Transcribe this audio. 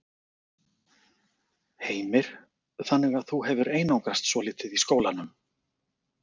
Heimir: Þannig að þú hefur einangrast svolítið í skólanum?